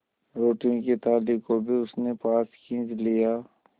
रोटियों की थाली को भी उसने पास खींच लिया